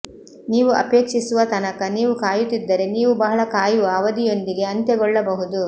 ನೀವು ಅಪೇಕ್ಷಿಸುವ ತನಕ ನೀವು ಕಾಯುತ್ತಿದ್ದರೆ ನೀವು ಬಹಳ ಕಾಯುವ ಅವಧಿಯೊಂದಿಗೆ ಅಂತ್ಯಗೊಳ್ಳಬಹುದು